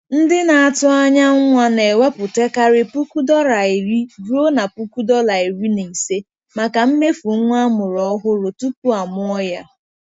Ndị na-atụ anya nwa na-ewepụtakarị puku dọla iri ruo na puku dọla iri na ise, maka mmefu nwa amụrụ ọhụrụ tupu amụọ ya.